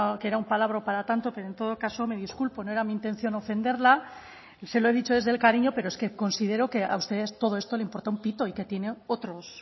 que era un palabro para tanto pero en todo caso me disculpo no era mi intención ofenderla y se lo he dicho desde el cariño pero es que considero que a ustedes todo esto les importa un pito y que tienen